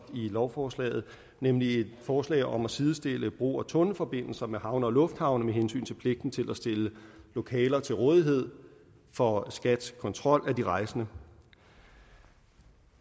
i lovforslaget nemlig et forslag om at sidestille brug af tunnelforbindelser med havne og lufthavne med hensyn til pligten til at stille lokaler til rådighed for skats kontrol af de rejsende